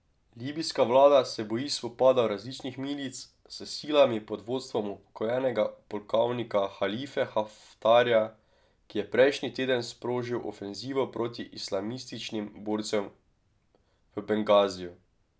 Libijska vlada se boji spopadov različnih milic s silami pod vodstvom upokojenega polkovnika Halife Haftarja, ki je prejšnji teden sprožil ofenzivo proti islamističnim borcem v Bengaziju.